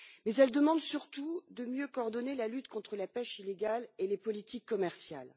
Mais elle demande surtout de mieux coordonner la lutte contre la pêche illégale et les politiques commerciales.